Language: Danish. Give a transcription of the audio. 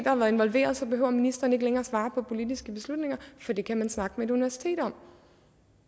har været involveret så behøver ministeren ikke længere svare på om politiske beslutninger for det kan man snakke med et universitet om